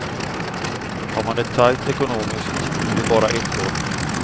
Har man det tajt ekonomiskt blir det bara ett år.